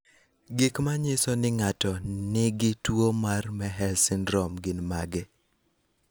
Gik manyiso ni ng'ato nigi tuwo mar Mehes syndrome gin mage?